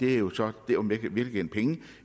er jo så